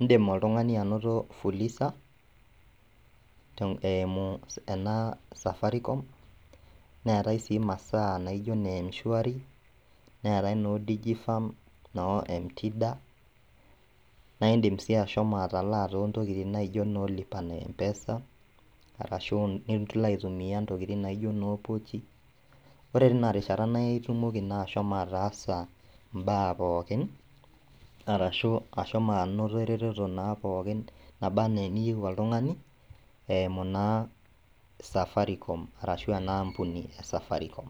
indim oltung'ani anoto fuliza, te eimu ena safarikom, neetai sii masaa naijo neemshwari, neetai noodijifam, noo emtida naaindim sii ashomo atalaa toontokitin naijo noolipa na empesa, arashu niloaitumia intokitin naijo noo pookie, ore tinarishata naitumoki naa ashomo ataasa imbaa pookin, arashu ashomo anoto eretoto naa pookin nabaa anaa eniyou oltung'ani eimu naa safaricom arashu enaampuni esafarikom.